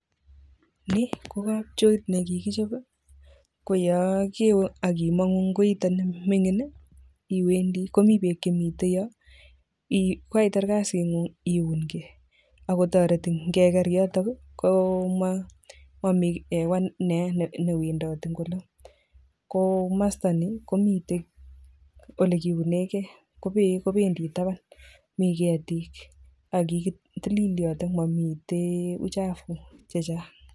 Ni kokapchoit nekikichop koyokewe akimangu eng koitoni mingin [ii] iwendi komi bek chemite yo kokaitar kasitngung iungei agotoreti ngeker yotok [ii] komami hewa neyaa newendoti eng olo ko masta ni komite ole kiunekei kobeek kobendi taban mi ketik akitilil yotok mamite uchafu chechang.